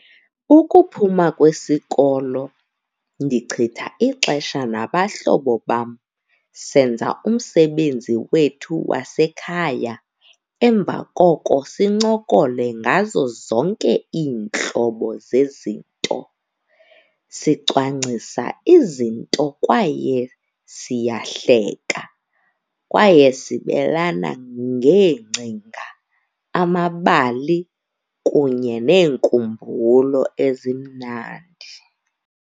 Ukuphuma kwesikolo ndichitha ixesha nabahlobo bam. Senza umsebenzi wethu wasekhaya, emva koko sincokole ngazo zonke iintlobo zezinto. Sicwangcia izinto kwaye siyahleka kwaye sibelana ngeengcinga, amabali kunye neenkumbulo ezimnandi.